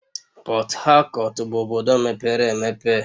Port Harcourt bụ obodo mepere emepe